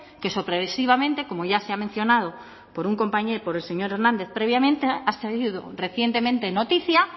que sorpresivamente como ya se ha mencionado por un compañero por el señor hernández previamente ha sido recientemente noticia